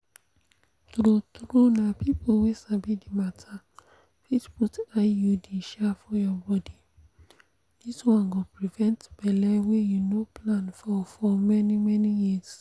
true-true na people wey sabi the matter fit put iud um for your body this one go prevent belle wey you no plan for for many-many years.